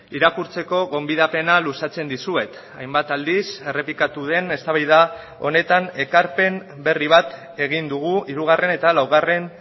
irakurtzeko gonbidapena luzatzen dizuet hainbat aldiz errepikatu den eztabaida honetan ekarpen berri bat egin dugu hirugarren eta laugarren